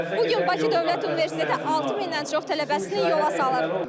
Bu gün Bakı Dövlət Universiteti 6000-dən çox tələbəsini yola salır.